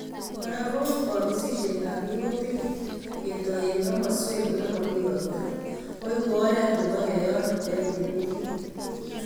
Kora ko kobisisietab minutik ketoi eng komoswek olemami ropta koeku oret nebo keyon rupet eng emet